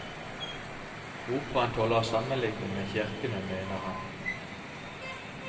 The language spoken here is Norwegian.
Operaen tåler sammenligning med kirkene, mener han.